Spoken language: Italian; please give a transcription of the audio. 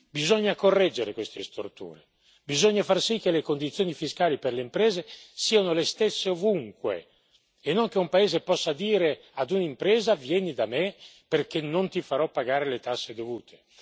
Bisogna correggere queste storture, bisogna far sì che le condizioni fiscali per le imprese siano le stesse ovunque e non che un paese possa dire ad un'impresa vieni da me perché non ti farò pagare le tasse dovute.